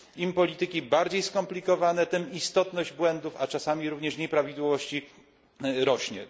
Im polityki bardziej skomplikowane, tym istotność błędów, a czasami również nieprawidłowości, rośnie.